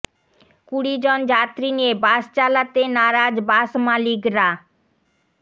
কুড়ি জন যাত্রী নিয়ে বাস চালাতে নারাজ বাস মালিকরা